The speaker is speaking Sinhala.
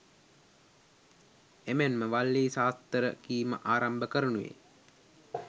එමෙන්ම වල්ලී සාස්තර කීම ආරම්භ කරනුයේ